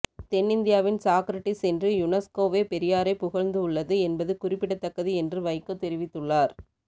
தென்னிந்தியாவின் சாக்ரடீஸ் என்று யுனெஸ்கோவே பெரியாரை புகழ்ந்து உள்ளது என்பது குறிப்பிடத்தக்கது என்று வைகோ தெரிவித்துள்ளார்